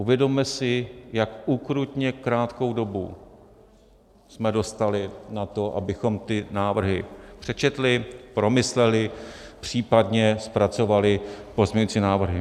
Uvědomme si, jak ukrutně krátkou dobu jsme dostali na to, abychom ty návrhy přečetli, promysleli, případně zpracovali pozměňovací návrhy.